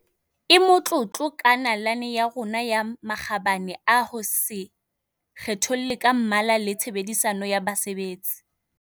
e motlotlo ka nalane ya yona ya makgabane a ho se kgetholle ka mmala le tshe bedisano ya basebetsi.